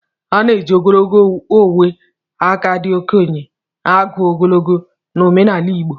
A na-eji ogologo ogwe aka ndị okenye agụ ogologo na omenala igbo